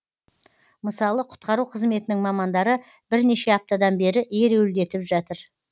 мысалы құтқару қызметінің мамандары бірнеше аптадан бері ереуілдетіп жатыр